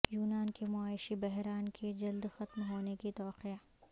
یونان کے معاشی بحران کے جلد ختم ہونے کی توقع